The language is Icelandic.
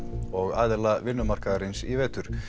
og aðila vinnumarkaðarins í vetur